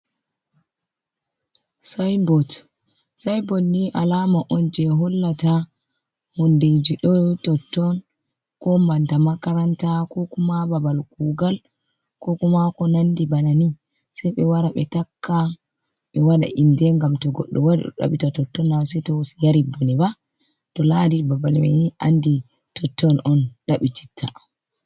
Sainbot ni alama on je hollata hundeji ɗo totton ko nanta makaranta ko kuma babal kugal ko kumako nandi bana ni sei ɓe wara ɓe takka ɓe wada inde ngam to goɗɗo wari o ɗaɓita totton na sei to yari bone ba to lari babal mai ni andi totton on ɗaɓɓititta.